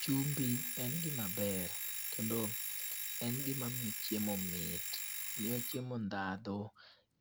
Chumbi en gima ber, kendo en gima miyo chiemo mit. Miyo chiemo ndhadhu